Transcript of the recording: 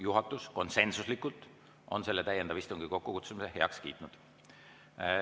Juhatus on konsensuslikult selle täiendava istungi kokkukutsumise heaks kiitnud.